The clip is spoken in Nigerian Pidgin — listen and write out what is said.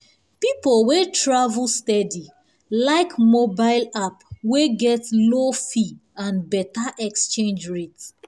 people wey travel steady like mobile app wey get low fee and better exchange rate.